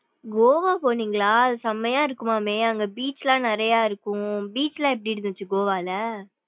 கோவா போனீங்களா செம்மையா இருக்கும்மாமே அங்க beach லாம் நிறையா இருக்கம் beach லாம் எப்படி இருந்துச்சு கோவால.